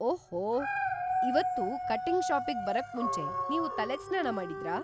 ಓಹೋ! ಇವತ್ತು ಕಟಿಂಗ್‌ ಷಾಪಿಗ್ ಬರೋಕ್ಮುಂಚೆ ನೀವು ತಲೆಗ್ ಸ್ನಾನ ಮಾಡಿದ್ರಾ?